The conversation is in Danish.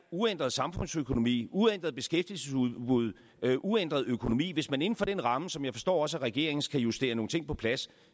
uændret samfundsøkonomi et uændret beskæftigelsesudbud en uændret økonomi hvis man inden for den ramme som jeg forstår også er regeringens kan justere nogle ting på plads